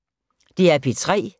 DR P3